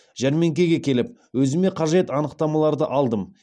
жәрмеңкеге келіп өзіме қажет анықтамаларды алдым